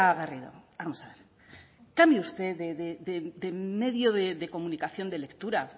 garrido vamos a ver cambie usted de medio de comunicación de lectura